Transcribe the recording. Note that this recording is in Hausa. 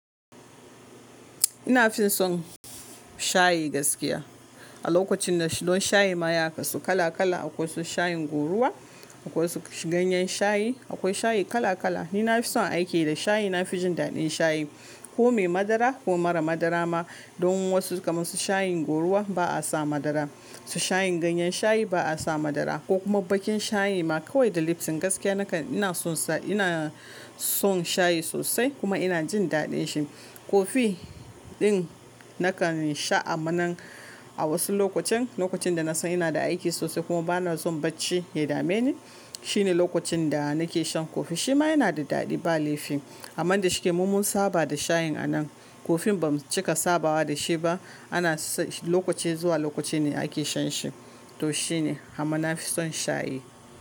Ina fin son shayi gaskiya. A lokacin na don shayi maya ka su kala kala akwai su shayin goruwa, akwai su ganyen shayi, akwai shayi kala kala. Ni na fi son aiki da shayi, na fi jin daɗin shayi. Ko mai madara ko mara madara ma don wasu kamar su shayin goruwa ba a sa madara. Su shayin ganyen shayi ba a sa madara ko kuma bakin shayi ma kawai da lipton gaskiya nakan ina sonsa ina son shayi sosai kuma ina jin daɗin shi. Kofi ɗin nakan sha amma nan a wasu lokacin, lokacin da na san ina da aiki sosai kuma ba na son bacci ya dame ni, shine lokacin da nake shan kofi. Shi ma yana da daɗi ba laifi. Amman da shike mu mun saba da shayin anan kofin ba mu cika sabawa da shi ba ana lokaci zuwa lokaci ne ake shan shi. To shine amma na fi son shayi.